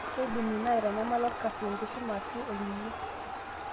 Keidim ina aitanyamala olkasi, enkisuma aashu olning'o.